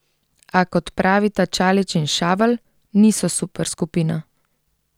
A, kot pravita Čalić in Šavel, niso superskupina.